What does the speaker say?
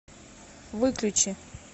выключи